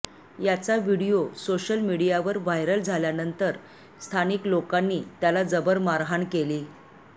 याचा video social मीडियावर viral झाल्यानंतर स्थानिक लोकांनी त्याला जबर मारहाण केली आहे